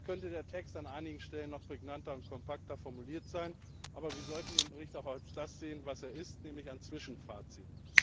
Sicher könnte der Text an einigen Stellen noch prägnanter und kompakter formuliert sein, aber wir sollten den Bericht auch als das sehen was er ist, nämlich ein Zwischenfazit.